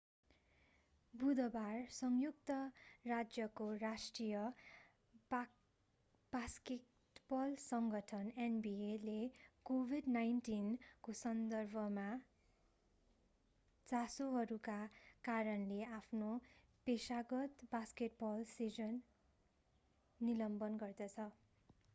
बुधबार संयुक्त राज्यको राष्ट्रिय बास्केटबल सङ्गठन nbaले covid-19 को सन्दर्भका चासोहरूका कारणले आफ्नो पेशागत बास्केटबल सिजन निलम्बन गर्दछ।